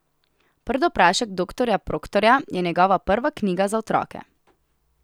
Prdoprašek doktorja Proktorja je njegova prva knjiga za otroke.